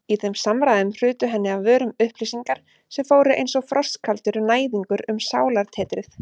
Í þeim samræðum hrutu henni af vörum upplýsingar sem fóru einsog frostkaldur næðingur um sálartetrið.